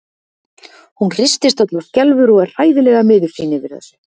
Hún hristist öll og skelfur og er hræðilega miður sín yfir þessu.